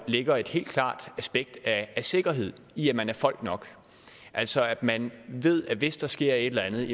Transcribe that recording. ligger et helt klart aspekt af sikkerhed i at man er folk nok altså at man ved at hvis der sker et eller andet